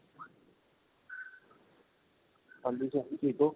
ਹਾਂਜੀ ਭਾਜੀ ਠੀਕ ਓ